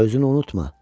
Özünü unutma.